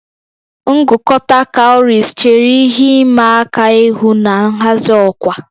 Ngụkọta cowries chere ihe ịma aka ihu na nhazi ọkwa